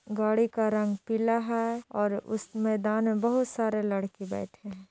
गाडी का रंग पीला हे और उस मैदान में बहुत सारे लड़की बैठे हे ।